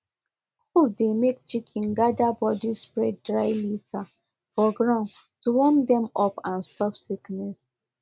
cold dey make chicken gather bodyspread dry litter for ground to warm dem up and stop sickness